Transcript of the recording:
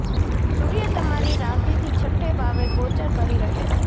સૂર્ય તમારી રાશિથી છઠ્ઠે ભાવે ગોચર કરી રહ્યો છે